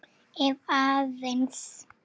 Ef aðeins.